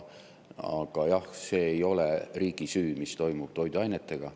Aga jah, see ei ole riigi süü, mis toimub toiduainetega.